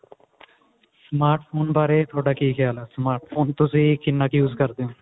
smart phone ਵਾਰੇ ਥੋਡਾ ਕੀ ਖਿਆਲ ਹੈ smart phone ਤੁਸੀਂ ਕਿੰਨਾ ਕ use ਕਰਦੇ ਹੋ